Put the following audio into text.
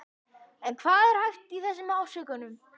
En hvað er hæft í þessum ásökunum?